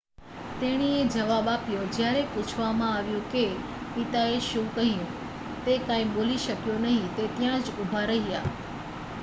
"તેણીએ જવાબ આપ્યો જ્યારે પૂછવામાં આવ્યું કે પિતાએ શું કહ્યું "તે કાંઈ બોલી શક્યો નહીં - તે ત્યાં જ ઉભા રહ્યા.""